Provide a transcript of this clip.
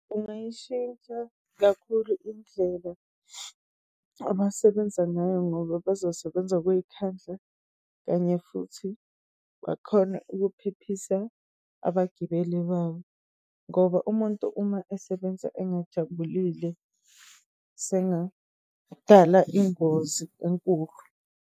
Kungayishintsha kakhulu indlela abasebenza ngayo, ngoba bazosebenza ngokuyikhandla kanye futhi bakhone ukuphephisa abagibeli babo. Ngoba umuntu uma esebenza engajabulile, sengadala ingozi enkulu.